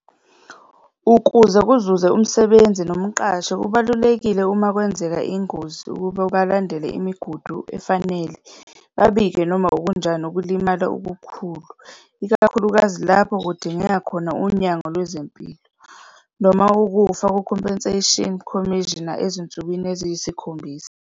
Ukuze kuzuze umsebenzi nomqashi kubalulekile, uma kwenzeka ingozi ukuba balandele imigudu efanele babike noma okunjani ukulimala okukhulu, ikakhulukazi lapho kudingeka khona unyango lwezempilo, noma ukufa ku-Compensation Commissioner ezinsukwini eziyisikhombisa.